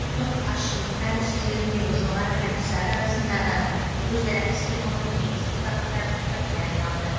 ұлттық азшылықтар ісі жөніндегі жоғары комиссары арасындағы өзара іс қимылдың негізгі бағыттарының біріне айналды